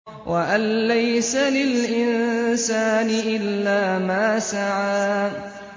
وَأَن لَّيْسَ لِلْإِنسَانِ إِلَّا مَا سَعَىٰ